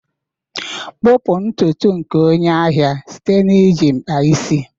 kpupu ntutu nke onye ahịa site na iji mkpa isi.